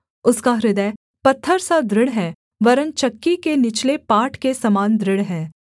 उसका हृदय पत्थर सा दृढ़ है वरन् चक्की के निचले पाट के समान दृढ़ है